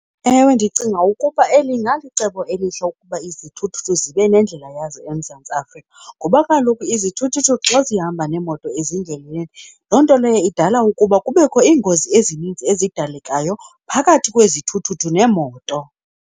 Ewe, ndicinga ukuba eli ingalicebo elihle ukuba izithuthuthu zibe nendlela yazo eMzantsi Afrika ngoba kaloku izithuthuthu xa zihamba neemoto ezindleleni, loo nto leyo idala ukuba kubekho iingozi ezinintsi ezidalekayo phakathi kwezithuthuthu neemoto.